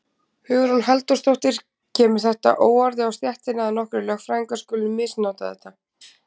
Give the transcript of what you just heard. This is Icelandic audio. Hugrún Halldórsdóttir: Kemur þetta óorði á stéttina að nokkrir lögfræðingar skuli misnota þetta?